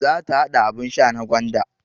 Za ta haɗa abun sha na gwanda